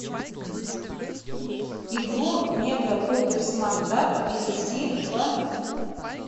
игру мегапуперсмартапп перейди в